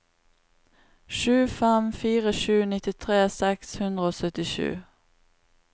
sju fem fire sju nittitre seks hundre og syttisju